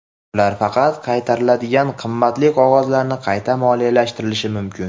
Ular faqat qaytariladigan qimmatli qog‘ozlarni qayta moliyalashtirishi mumkin.